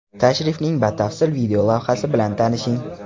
Tashrifning batafsil video lavhasi bilan tanishing!.